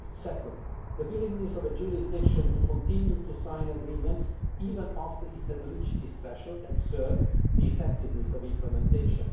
Secondly, the willingness of a jurisdiction to continue to sign agreements even after it has reached this threshold and thirdly, the effectiveness of implementation.